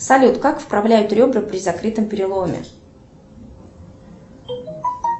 салют как вправляют ребра при закрытом переломе